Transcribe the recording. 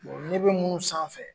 ne bɛ munnu sanfɛ.